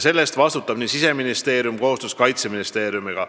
Selle eest vastutab Siseministeerium koos Kaitseministeeriumiga.